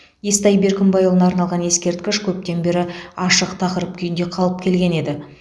естай беркімбайұлына арналған ескерткіш көптен бері ашық тақырып күйінде қалып келген еді